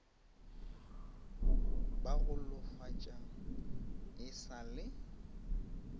ba golofatša e sa le